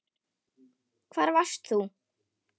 Hvar varst þú???